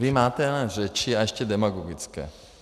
Vy máte jenom řeči, a ještě demagogické.